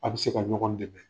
An be se ka ɲɔgɔn dɛmɛ.